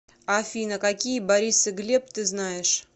афина какие борис и глеб ты знаешь